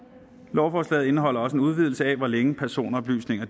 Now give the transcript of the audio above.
lovforslaget indeholder også en udvidelse af hvor længe personoplysninger